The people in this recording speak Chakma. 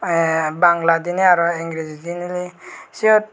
a bangladine aaro engrijediney siyot.